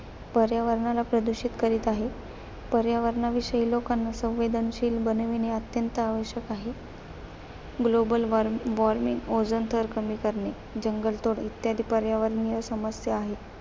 पर्यावरणाला प्रदूषित करत आहेत. पर्यावरणाविषयी लोकांना संवेदनशील बनवणे अत्यंत आवश्यक आहे. Global war warming ओझोन थर कमी करणे, जंगलतोड इत्यादी पर्यावरणीय समस्या आहेत.